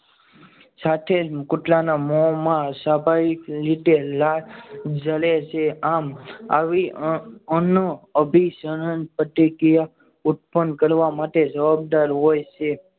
સાથે જ કૂતરાના મોમાં સ્વાભાવિક રીતે લાળ જરે છે. આમ આવી અન્ય અભિસરણ પ્રતિક્રિયા ઉત્પન્ન કરવા માટે જવાબદાર હોય છે.